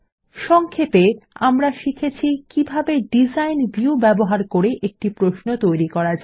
সংক্ষেপে আমরা শিখেছি কিভাবে ডিজাইন ভিউ ব্যবহার করে একটি প্রশ্ন তৈরি করা যায়